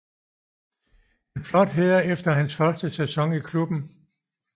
En flot hæder efter hans første sæson i klubben